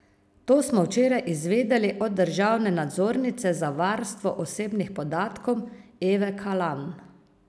To smo včeraj izvedeli od državne nadzornice za varstvo osebnih podatkov Eve Kalan.